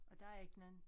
Og der ikke nogen